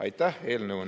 Aitäh!